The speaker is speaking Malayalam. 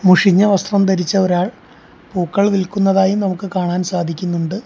മുഷിഞ്ഞ വസ്ത്രം ധരിച്ച ഒരാൾ പൂക്കൾ വിൽക്കുന്നതായി നമുക്ക് കാണാൻ സാധിക്കുന്നുണ്ട്.